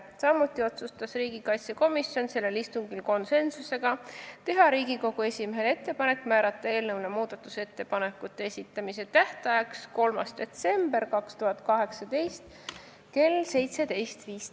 Samuti otsustas riigikaitsekomisjon sellel istungil konsensusega teha Riigikogu esimehele ettepaneku määrata eelnõu muudatusettepanekute esitamise tähtajaks 3. detsember 2018 kell 17.15.